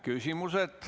Küsimused.